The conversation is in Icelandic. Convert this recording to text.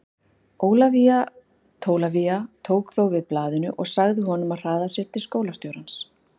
Ólafía Tólafía tók þó við blaðinu og sagði honum að hraða sér til skólastjórans.